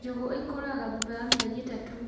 Njũgũ ikũraga thutha wa mĩeri ĩtatũ